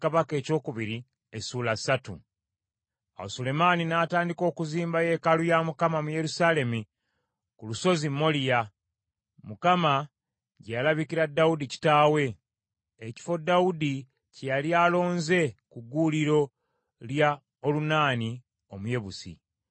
Awo Sulemaani n’atandika okuzimba yeekaalu ya Mukama mu Yerusaalemi ku lusozi Moliya, Mukama gye yalabikira Dawudi kitaawe, ekifo Dawudi kye yali alonze ku gguuliro lya Olunaani Omuyebusi.